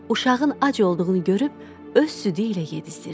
Uşağın ac olduğunu görüb öz südü ilə yedizdirdi.